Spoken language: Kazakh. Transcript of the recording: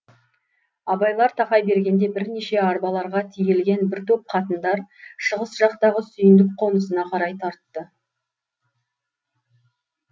абайлар тақай бергенде бірнеше арбаларға тиелген бір топ қатындар шығыс жақтағы сүйіндік қонысына қарай тартты